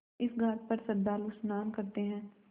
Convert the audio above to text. इस घाट पर श्रद्धालु स्नान करते हैं